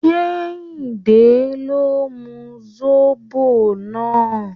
Kẹ́hìndé ló mu zobo náà.